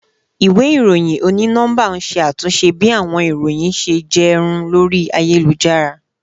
Iwe iroyin oni nọmba n ṣe atunṣe bi awọn iroyin ṣe jẹ run lori ayelujara